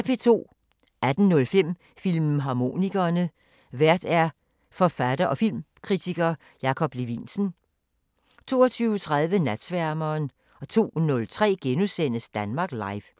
18:05: Filmharmonikerne: Vært forfatter og filmkritiker Jakob Levinsen 22:30: Natsværmeren 02:03: Danmark Live *